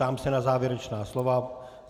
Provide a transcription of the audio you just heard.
Ptám se na závěrečná slova.